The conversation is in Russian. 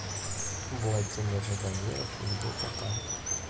владимир ждамиров где то там